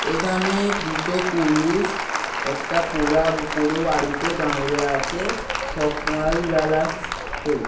এখানে দুটো পুরুষ একটা পোড়া পুড়ো বাড়িতে দাঁইড়য়ে আছে সকাল বেলা তে।